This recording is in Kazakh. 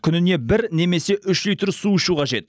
күніне бір немесе үш литр су ішу қажет